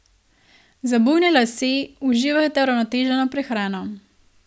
Za bujne lase uživajte uravnoteženo prehrano.